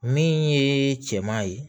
Min ye cɛman ye